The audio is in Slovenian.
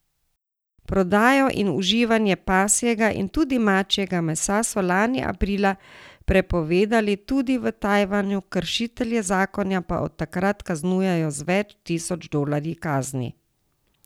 Prodajo in uživanje pasjega in tudi mačjega mesa so lani aprila prepovedali tudi v Tajvanu, kršitelje zakona pa od takrat kaznujejo z več tisoč dolarji kazni.